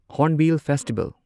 Hornbill festival